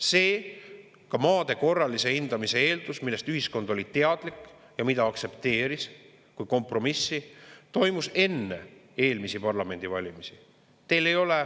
See maade korralise hindamise eeldus, millest ühiskond oli teadlik ja mida aktsepteeris kui kompromissi, toimus enne eelmisi parlamendivalimisi.